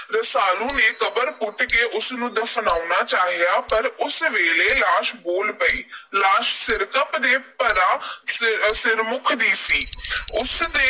ਰਸਾਲੂ ਨੇ ਕਬਰ ਪੁੱਟ ਕੇ ਉਸ ਨੂੰ ਦਫ਼ਨਾਉਣਾ ਚਾਹਿਆ। ਪਰ ਉਸ ਵੇਲੇ ਲਾਸ਼ ਬੋਲ ਪਈ। ਲਾਸ਼ ਸਿਰਕੱਪ ਦੇ ਭਰਾ ਸਿਰ ਅਹ ਸਿਰਮੁੱਖ ਦੀ ਸੀ। ਉਸ ਨੇ